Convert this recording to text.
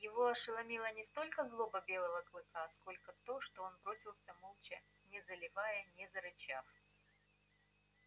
его ошеломила не столько злоба белого клыка сколько то что он бросился молча не залаяв не зарычав